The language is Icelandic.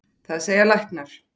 Það segja læknar.